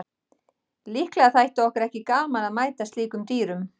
Líklega þætti okkur ekki gaman að mæta slíkum dýrum.